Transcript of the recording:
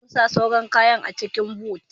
Za mu sa sauran kayan a cikin Boot.